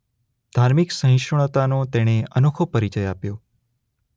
ધાર્મિક સહિષ્ણુતાનો તેણે અનોખો પરિચય આપ્યો.